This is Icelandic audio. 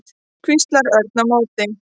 hvíslaði Örn á móti.